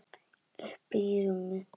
Uppí rúmi.